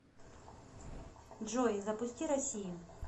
джой запусти россию